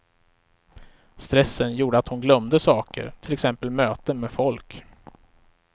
Stressen gjorde att hon glömde saker, till exempel möten med folk.